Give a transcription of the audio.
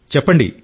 చెప్పండి